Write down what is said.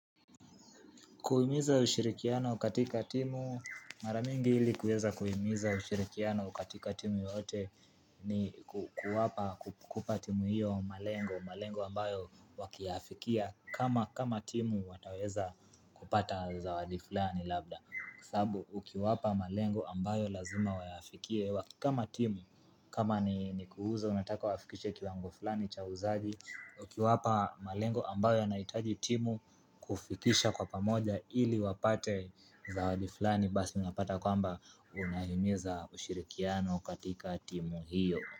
Kuhimiza ushirikiano katika timu, mara mingi ili kuweza kuhimiza ushirikiano katika timu yote ni kuwapa kupa timu hiyo malengo, malengo ambayo wakiafikia kama kama timu wataweza kupata zawadi fulani labda. Kwasababu ukiwapa malengo ambayo lazima wayafikie kama timu kama ni kuuza wanataka wafikishe kiwango fulani cha uuzaji Ukiwapa malengo ambayo anaitaji timu kufikisha kwa pamoja ili wapate zawadi fulani Basi unapata kwamba unahimiza ushirikiano katika timu hiyo.